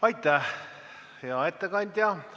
Aitäh, hea ettekandja!